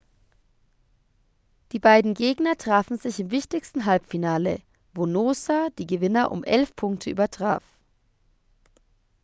die beiden gegner trafen sich im wichtigsten halbfinale wo noosa die gewinner um 11 punkte übertraf